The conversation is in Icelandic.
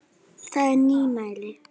Það er nýmæli.